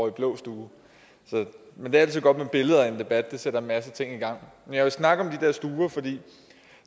i blå stue men det er altid godt med billeder i en debat det sætter en masse ting men jeg vil snakke om